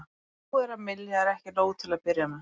Það sem búið er að mylja er ekki nóg til að byrja með.